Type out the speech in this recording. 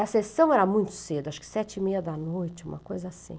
A sessão era muito cedo, acho que sete e meia da noite, uma coisa assim.